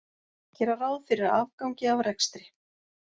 Gera ráð fyrir afgangi af rekstri